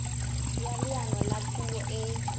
ya leano la puo e